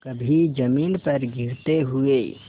कभी जमीन पर गिरते हुए